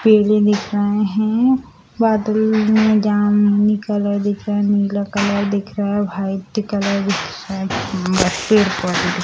दिख रहे है बादल मे जामुनी कलर दिख रहा है नीला दिख रहा है व्हाइट कलर दिख रहा है --